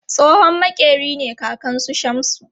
Tsohon maƙeri ne kakan su Shamsu